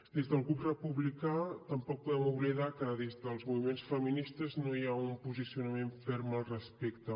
des del grup republicà tampoc podem oblidar que des dels moviments feministes no hi ha un posicionament ferm al respecte